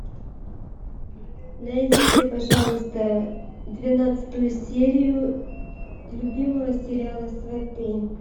найдите пожалуйста двенадцатую серию любимого сериала сваты